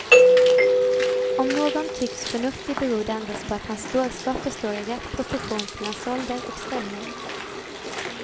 Om någon tycks förnuftig beror det endast på att hans dårskaper står i rätt proportion till hans ålder och ställning.